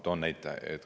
Toon näite.